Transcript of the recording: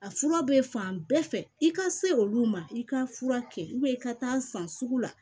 A fura bɛ fan bɛɛ fɛ i ka se olu ma i ka fura kɛ i ka taa san sugu la